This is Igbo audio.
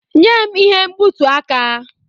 Nye m ihe mgbutu aka!